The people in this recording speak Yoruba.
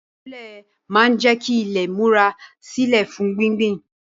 Ìwúlẹ̀ máa ń jẹ́ kí ilé múra sílè fún gbíngbìn